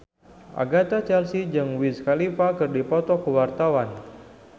Agatha Chelsea jeung Wiz Khalifa keur dipoto ku wartawan